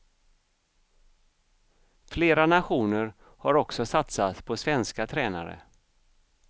Flera nationer har också satsat på svenska tränare.